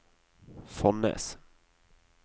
Fonnes